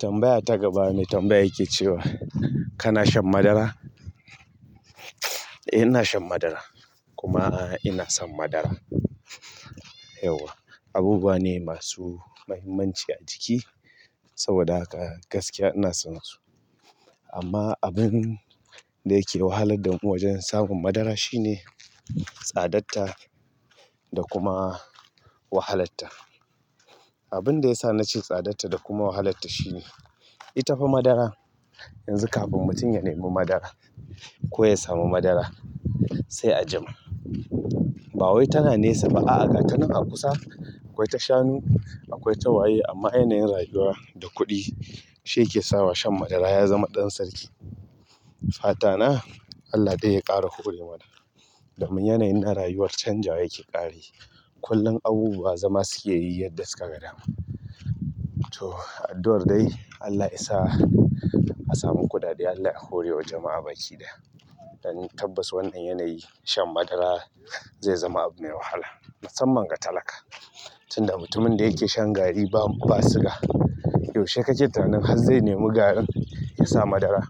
Tambaya ta gaba me tambaya yake cewa kana shan madara? Eh, ina shan madara kuma ina son madara, yauwa abubuwa ne masu muhimmanci a ciki saboda haka gaskiya ina son su. Amma abin da yake wahalar da mu wajen samun madara shine tsadatta da kuma wahalatta. Abin da ya sa na ce tsadatta da kuma wahalatta shine ita fa madara yanzu kafin mutum ya nemi madara ko ya samu madara sai a jima. Ba wai tana nesa ba a'a ga tanan a kusa akwai ta shanu akwai ta waye amma yanayin rayuwa da kuɗi shi yake sawa shan madara ya zama ɗan sarki. Fata na Allah dai ya ƙara hore mana domin yanayi na rayuwar can jawa yake ƙarayi. Kullum abubuwa zama suke yi yadda suka ga dama. To addu'ar dai Allah isa a samu kuɗaɗen Allah ya hore wa jama'a baki ɗaya, don tabbatas wannan yanayi shan madara zai zama abu mai wahala musamman ga talaka. Tunda mutumin da yake shan gari ba, ba siga. Yaushe kake tunanin har zai nemi garin ya sa madara?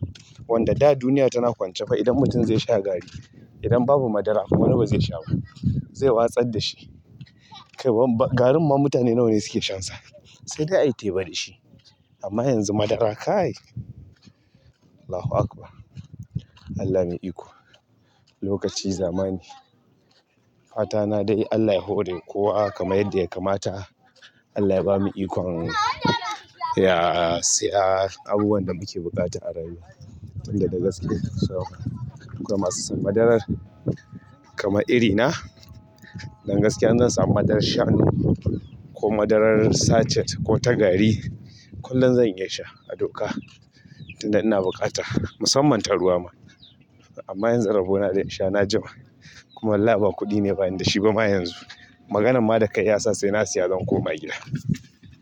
Wanda da duniya tana kwance fa idan mutum zai sha gari idan babu madara wani ba zai sha ba? Zai watsar da shi. Kai garin ma mutane nawa ne suke shansa? Sai dai ayi teba da shi. Amma yanzu madara kai Allahu Akbar. Allah me yi iko. Lokaci zamani. Fata na dai Allah ya hore kowa kama yadda ya kamata. Allah ya bamu ikon ya saya abubuwan da muke buƙata a arayuwa tun da de gaskiya saboda duk da masu son madarar kamar iri na. Don gaskiya in zan sa madarar shanu ko madarar sachet ko ta gari kullum zan iya sha a doka. Tun da ina buƙata musamman ta ruwa ma. Amma yanzu rabo na da insha na jima kuma wallahi ba kuɗi ne bani da shi ba ma yanzu. Maganan ma da kai ya sa sai na siya zan ko ma gida.